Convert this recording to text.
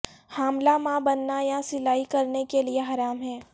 حاملہ ماں بننا یا سلائی کرنے کے لئے حرام ہے